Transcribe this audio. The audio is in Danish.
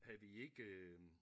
Havde vi ikke øh